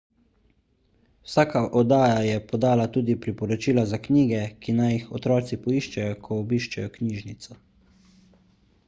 vsaka oddaja je podala tudi priporočila za knjige ki naj jih otroci poiščejo ko obiščejo knjižnico